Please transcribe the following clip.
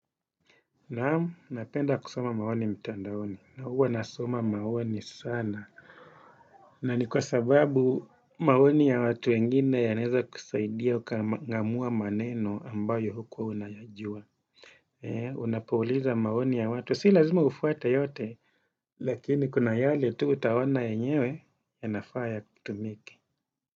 Naam, napenda kusoma maoni mtandaoni, na huwa nasoma maoni sana. Na ni kwa sababu maoni ya watu wengine yanaweza kusaidia ukang'amua maneno ambayo hukuwa unayajua. Unapouliza maoni ya watu, si lazima ufuate yote, lakini kuna yale tu utaona enyewe, yanafaa yatumike.